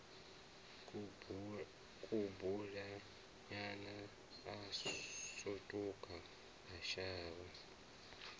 kubulinyana a sutuka a shavha